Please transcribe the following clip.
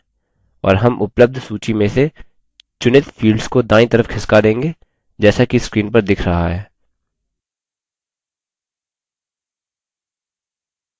और हम उपलब्ध सूची में से चुनित fields को दायीं तरफ खिसका देंगे जैसा कि screen पर दिख रहा है